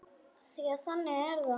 Því að þannig er það!